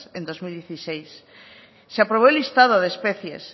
en dos mil dieciséis se aprobó el listado de especies